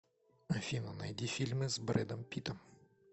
афина найди фильмы с брэдом питом